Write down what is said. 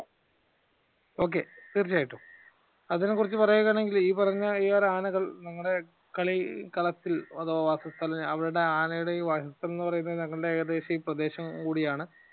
Okay തീർച്ചയായിട്ടും അതിനെ കുറിച്ച് പറയുകയാണെങ്കിൽ ഈ പറഞ്ഞ ഈ ആനകൾ നിങ്ങളുടെ കളിക്കളത്തിൽ അഥവാ വാസസ്ഥലം അവരുടെ ആനയുടെ എന്ന് പറയുന്നത് ഞങ്ങളുടെ ഏകദേശം ഈ പ്രദേശം കൂടിയാണ്